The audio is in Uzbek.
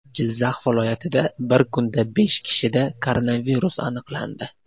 Jizzax viloyatida bir kunda besh kishida koronavirus aniqlandi.